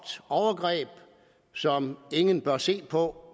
overgreb som ingen bør se på